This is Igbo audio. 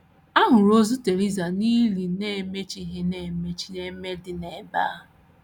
A hụrụ ozu Theresa n’ili na - emichaghị na - emichaghị emi dị n’ebe ahụ.